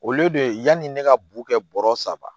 Olu de yani ne ka bo kɛ bɔrɔ saba